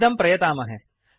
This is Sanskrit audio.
इदं प्रयतामहे